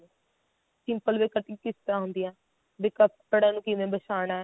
simple ਵੀ cutting ਕਿਸ ਤਰ੍ਹਾਂ ਹੁੰਦੀ ਆ ਵੀ ਕੱਪੜੇ ਨੂੰ ਕਿਵੇਂ ਵਸ਼ਾਨਾ